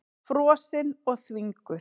Frosin og þvinguð.